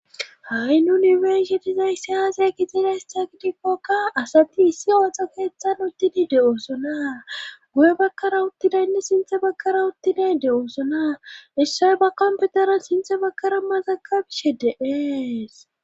Ha'i nunifersitizayssi aasey kixida hes takidikkokka asati issi ooxo keeththan uttidi de7oosona guye bakkara uttidaynne sinthe bakkara uttiday de7oosona issoy ba komputeran sinthe bakkara mazaka bishe de'ees.